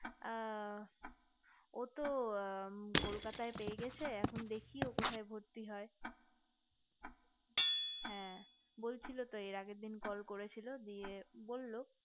আ ও তো কলকাতায় পেয়ে গেছে এখন দেখি কোথায় ভর্তি হয় হ্যা বলছিলো তো এর আগের দিন call করেছিল দিয়ে বললো